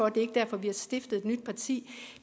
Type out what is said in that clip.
er ikke derfor vi har stiftet et nyt parti